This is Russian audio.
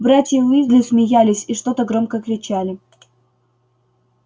братья уизли смеялись и что-то громко кричали